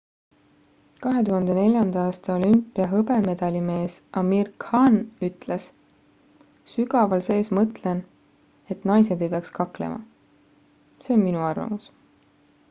2004 aasta olümpia hõbemedalimees amir khan ütles sügaval sees mõtlen et naised ei peaks kaklema see on minu arvamus